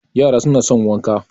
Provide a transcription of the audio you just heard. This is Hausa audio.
yara suna son wanka